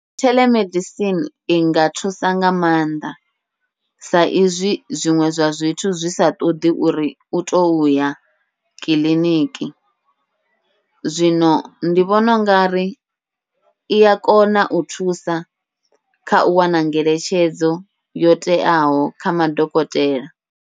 Theḽemedisini inga thusa nga maanḓa, sa izwi zwiṅwe zwa zwithu zwi sa ṱoḓi uri utou ya kiḽiniki, zwino ndi vhona ungari ia kona u thusa khau wana ngeletshedzo yo teaho kha madokotela.